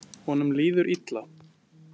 Honum líður illa.